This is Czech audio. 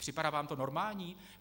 Připadá vám to normální?